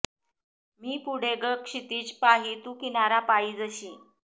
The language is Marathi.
मी पुढे ग क्षितीज पाही तू किनारा पायी जशी